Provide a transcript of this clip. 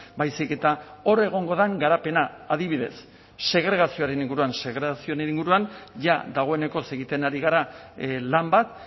baizik eta hor egongo den garapena adibidez segregazioaren inguruan segregazioaren inguruan jada dagoeneko egiten ari gara lan bat